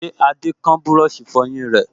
Ṣé Adé kán búrọ̀sì ìfọyín rẹ̀?